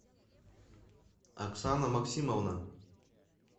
оксана максимовна